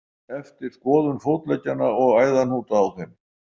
Eftir skoðun fótleggjanna og æðahnúta á þeim.